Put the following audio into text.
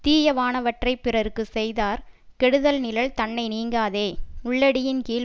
தீயவானவற்றைப் பிறர்க்கு செய்தார் கெடுதல் நிழல் தன்னை நீங்காதே உள்ளடியின்கீழ்